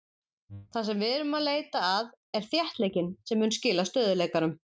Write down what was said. Það sem við erum að leita að er þéttleikinn sem mun skila stöðugleikanum.